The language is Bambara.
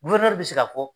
bɛ se ka fɔ